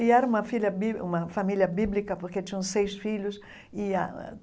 E era uma filha bí uma família bíblica, porque tinham seis filhos e.